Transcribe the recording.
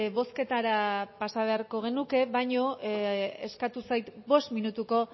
bozketara pasa beharko genuke baina eskatu zait bost minutuko